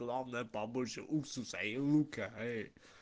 главное побольше уксуса и лука эй